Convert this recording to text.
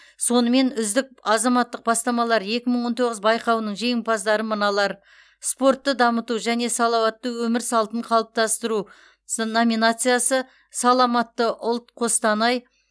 сонымен үздік азаматтық бастамалар екі мың он тоғыз байқауының жеңімпаздары мыналар спортты дамыту және салауатты өмір салтын қалыптастыру сы номинациясы саламатты ұлт қостанай